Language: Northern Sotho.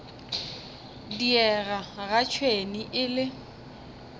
diega ga tšhwene e le